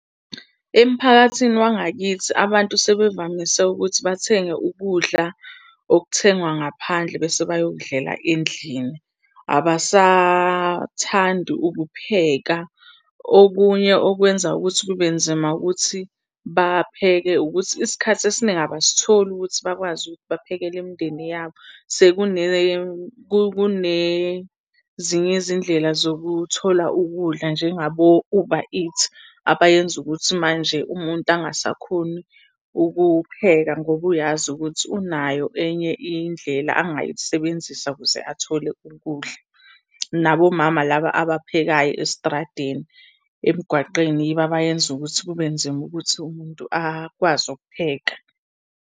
Emphakathini wangakithi abantu sebevamise ukuthi bathenge ukudla okuthengwa ngaphandle bese bayokudlela endlini, abasathandi ukupheka. Okunye okwenza ukuthi kube nzima ukuthi bapheke, ukuthi isikhathi esiningi abasitholi ukuthi bakwazi ukuthi baphekele imindeni yabo. Kunezinye izindlela zokuthola ukudla njengabo-Uber Eats, abayenza ukuthi manje umuntu angasakhoni ukupheka ngoba uyazi ukuthi unayo enye indlela angayisebenzisa ukuze athole ukudla. Nabomama laba abaphekayo estradeni, emgwaqeni yibo abayenza ukuthi kube nzima ukuthi umuntu akwazi ukupheka.